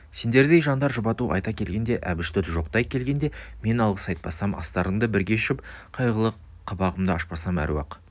сендердей жандар жұбату айта келгенде әбішті жоқтай келгенде мен алғыс айтпасам астарыңды бірге ішіп қайғылы қабағымды ашпасам әруақ